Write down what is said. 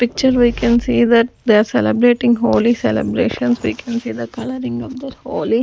picture we can see that they are celebrating Holi celebrations we can see the coloring of their Holi.